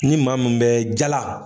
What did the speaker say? Ni maa mun bɛ jala